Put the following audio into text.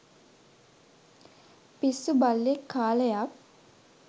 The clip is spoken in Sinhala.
පිස්සු බල්ලෙක් කාලයක්